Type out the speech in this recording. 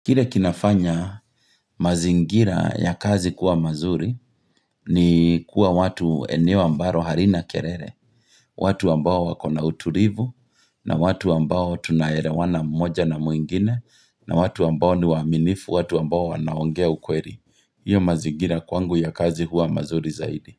Kile kinafanya mazingira ya kazi kuwa mazuri ni kuwa watu eneo ambalo halina kelele. Watu ambao wakona utulivu na watu ambao tunaelewana mmoja na mwingine na watu ambao ni waaminifu, watu ambao wanaongea ukweli. Hiyo mazingira kwangu ya kazi huwa mazuri zaidi.